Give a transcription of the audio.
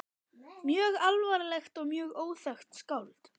Mjög alvarlegt og mjög óþekkt skáld.